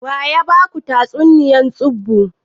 Waya maku tatsuniya tsubu?